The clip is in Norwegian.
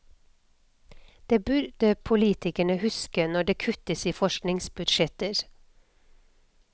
Det burde politikere huske når det kuttes i forskningsbudsjetter.